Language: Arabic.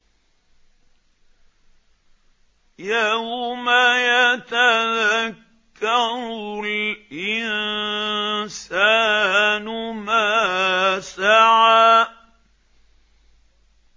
يَوْمَ يَتَذَكَّرُ الْإِنسَانُ مَا سَعَىٰ